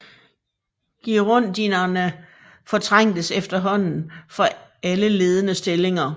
Girondinerne fortrængtes efterhånden fra alle ledende stillinger